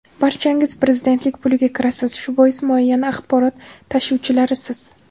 Barchangiz prezidentlik puliga kirasiz, shu bois muayyan axborot tashuvchilarisiz.